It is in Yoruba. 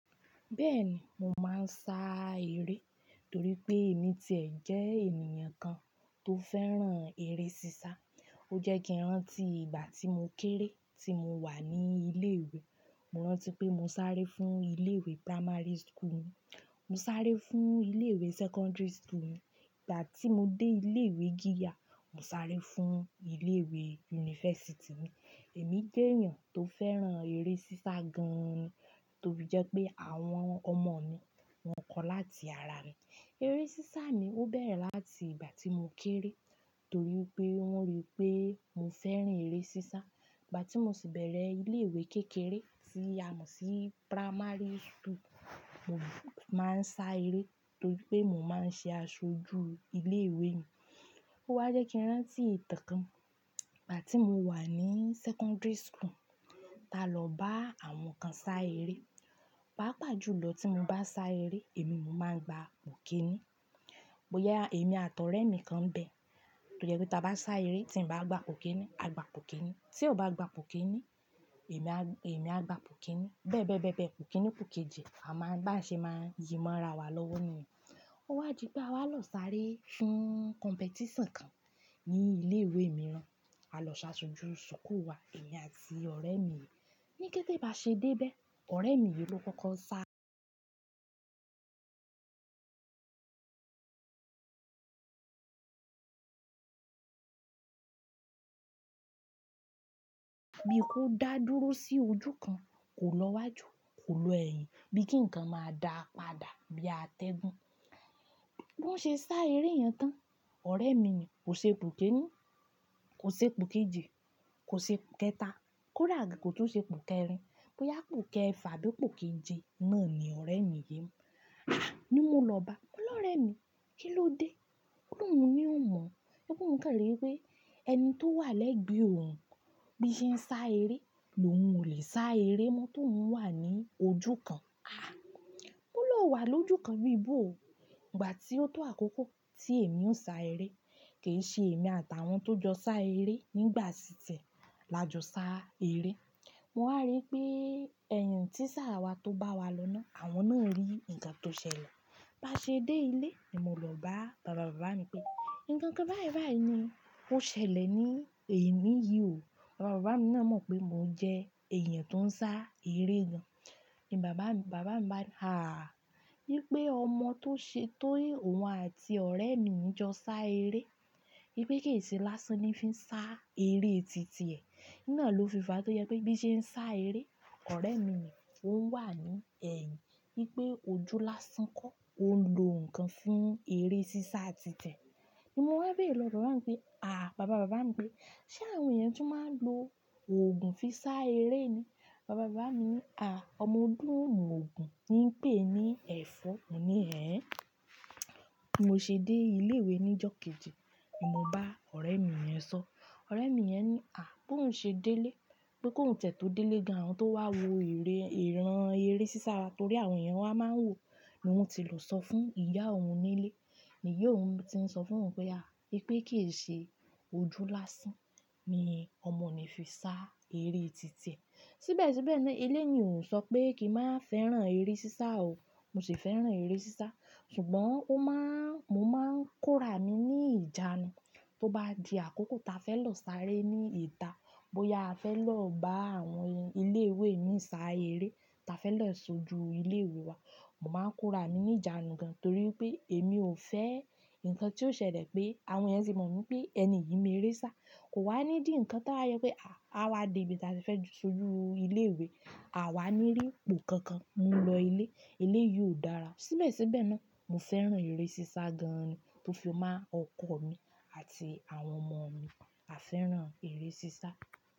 Bẹ́ẹ̀ni, mo máa ń sá eré torí pé èmi ti ẹ̀ jẹ́ ènìyàn kan tó fẹ́ràn eré sísá. Ó jẹ́ kí n rántí ìgbà tí mo kéré tí mo wà ní ilé ìwé. Mo rántí pé mo sáré fún ilé ìwé primary school mi. Mo sáré fún ilé ìwé secondary school mi. Ìgbà tí mo dé ilé ìwé gíga, mo sáré fún ilé ìwé university mi. Èmi jẹ́ èèyàn tó fẹ́ràn eré sísá gan-an ni, to fi jẹ́ pé àwọn ọmọ mi, wọ́n kọ́ láti ara mi. Eré sísá mi ó bẹ̀rẹ̀ láti ìgbà tí mo kéré torí pé wọ́n rí pé mo fẹ́ràn eré sísá. Ìgbà tí mo sì bẹ̀rẹ̀ ilé ìwé kékeré tí a mọ̀ sí primary school, mo máa ń sá eré torí pé mo máa ń ṣe aṣojú ilé ìwé mi. Ó wá jẹ́ kí n rántí ìtàn kan. Ìgbà tí mo wà ní secondary school, ta lọ bá àwọn kan sá eré. Pàápàá jùlọ tí mo bá sá eré, èmi mo máa ń gba ikinni. Bóyá èmi àti ọ̀rẹ́ mi kan bẹ̀, to je pé tí a bá sá eré tí ń bá gba ipo kinni, a gba ipo kinni. Tí o bá gba po'kinni, èmi a, èmi á gba po'kinni. Bẹ́ẹ̀ bẹ́ẹ̀ bẹ́ẹ̀ bẹ́ẹ̀, pò' kinni po' kèji a máa bá ṣe máa yí má ra wa lọ́wọ́ niyen. Ó wá di pé a wá lọ sáré fún competition kan ní ilé ìwé mìíràn. A lọ ṣáṣojú sukuu wa, èmi àti ọ̀rẹ́ mi yìí. Ni kété bá ṣe dé bẹ́ẹ̀, ọ̀rẹ́ mi yìí ló kọ́kọ́ sá. Bí kó dá dúró sí ojú kan, kò lọ wájú, kò lo ẹ̀yìn. Bí kí nǹkan máa dá padà bí atẹ́gùn. Bo ṣe sá eré yẹn tán, ọ̀rẹ́ mi ni kò ṣe Ipo kinni, kò ṣe ipo kèji, kò ṣe ipòkẹ́ta, kó rà gan kò tún ṣe ipo kẹ́rin. Bóyá ipòkẹ́ẹfà bí ipokèje náà ni ọ̀rẹ́ mi yìí. "A!" Ni mo lọ bá. "Mo lọ́rẹ́ mi, kí ló dé?" Ó ní òun na ò mọ̀. Ọ̀'loun kàn ri wípé ẹni tó wà lẹ́gbẹ̀ẹ́ òun bí i ṣe ń sá eré, lòun ò lè sá eré mọ́ t'óun wà ní ojú kan. "A! Mọ́ ló wà lójú kan bí bo ò." Ìgbà tí ó tó àkókò tí èmi o ń sá eré, kì í ṣe èmi àtàwọn tó jọ sá eré nígbà ti ti e la jọ sá eré. Mo wá rí pé ẹ̀h tíisa wa tó bá wa lọ́ nà, àwọn náà rí nǹkan tó ṣẹlẹ̀. Bá ṣe dé ilé ni mo lọ bá bàbá bàbá mi pé, "Nǹkan kan báyìí báyìí ni ó ṣẹlẹ̀ ní èni yìí o." Bàbá bàbá mi náà mọ̀ pé mò jẹ́ èèyàn tó ń sá eré gan. Ni bàbá mi, bàbá mi bá mi, "Ààh! Wipé ọmọ tó ṣe, tó e òun àti ọ̀rẹ́ mi jọ sá eré. Wípé kì í ṣe lásán ni fí ń sá eré titi ẹ̀." Iná lò fi fà tó jẹ́ pé bí i ṣe ń sá eré, ọ̀rẹ́ mi yii ò n wà ní ẹ̀yìn. Wípé ojú lásán kọ́, òún lò ǹkan fún eré sísá titi ẹ̀. Ni mo wá béèrè lọ bàbá mi pé, "À, bàbá bàbá mi pé, ṣé àwọn èèyàn tún máa ń lo òògùn fi sá eré ni?" Bàbá bàbá mi wí, "À, ọmọde ò mọ òògùn ń pè ní ẹfọ̀." Mo ní, "Hẹ́?" Bí mo ṣe dé ilé ìwé ní ìjọ́ kejì ni mo bá ọ̀rẹ́ mi yẹn sọ. Ọ̀rẹ́ mi yẹn ní, "À, bó ń ṣe délé, bó kò ń tẹ̀tọ́ délé gan, àwọn tó wá wo ère, ìran eré sísá wa torí àwọn èèyàn wá máa ń wò ló ti lọ sọ fún ìyá òun nílé. Ni iya òun ti ń sọ fún òun pé, "À, wipé kì í ṣe ojú lásán ni ọmọ ni fi sá eré titi ẹ̀." Síbẹ̀ síbẹ̀ náà eleni ò sọ pé kí n má fẹ́ràn eré sísá o. Mo sì fẹ́ràn eré sísá. Ṣùgbọ́n ó má ń, mo máa ń kóra mi ní ìjánu. Tó bá di àkókò ta fẹ́ lọ sáré ní ìta, bóyá a fẹ́ lọ bá àwọn ilé ìwé mi sá eré, ta fẹ́ lọ ṣojú ilé ìwé wa, mo máa ń kóra mi ní ìjánu gan torí wipé èmi ò fẹ́ nǹkan tí ó ṣẹlẹ̀ pé àwọn èèyàn ti mọ̀ mí pé ẹni yìí me'eré sá. Kò wá ní dì ǹkan tí wá yẹ pé, à, a wá dé ibi tí a fẹ́ ṣojú ilé ìwé, à wá ní rí ipò kan kan. Mo lọ ilé, eleyìí ò dára. Síbẹ̀ síbẹ̀ náà, mo fẹ́ràn eré sísá gan ni tó fi ma ọkọ̀ mi àti àwọn ọmọ mi, a fẹ́ràn eré sísá.